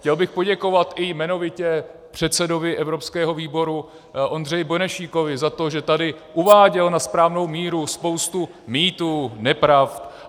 Chtěl bych poděkovat i jmenovitě předsedovi evropského výboru Ondřeji Benešíkovi za to, že tady uváděl na správnou míru spoustu mýtů, nepravd.